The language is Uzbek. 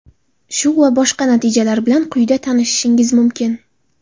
Shu va boshqa natijalar bilan quyida tanishishingiz mumkin.